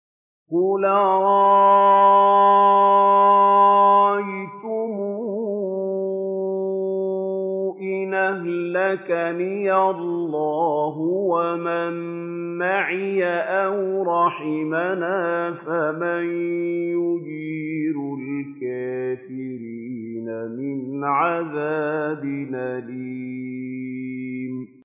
قُلْ أَرَأَيْتُمْ إِنْ أَهْلَكَنِيَ اللَّهُ وَمَن مَّعِيَ أَوْ رَحِمَنَا فَمَن يُجِيرُ الْكَافِرِينَ مِنْ عَذَابٍ أَلِيمٍ